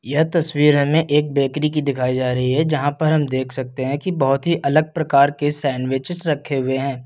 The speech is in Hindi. यह तस्वीर हमें एक बेकरी की दिखाई जा रही है जहां पर हम देख सकते हैं कि बहुत ही अलग प्रकार के सैंडविचेस रखे हुए हैं।